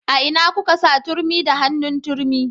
A ina kuka sa turmi da hannun turmi